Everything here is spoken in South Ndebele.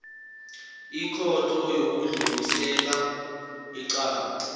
ikhotho yokudlulisela icala